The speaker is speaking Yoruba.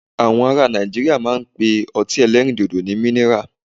Àwọn ará Nàìjíríà máa ń pe ọtí ẹlẹ́rìndòdò ní minira.